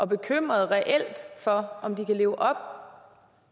bekymrede for om de kan leve op